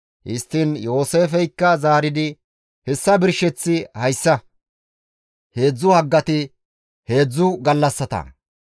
Histtiin Yooseefeykka zaaridi, «Hessa birsheththi hayssa; heedzdzu haggati heedzdzu gallassata.